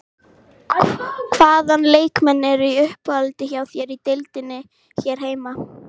Hvaða leikmenn eru í uppáhaldi hjá þér í deildinni hér heima?